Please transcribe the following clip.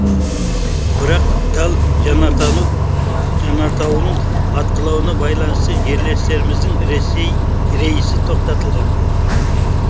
бірақ тал жанартауының атқылауына байланысты жерлестеріміздің рейсі тоқтатылған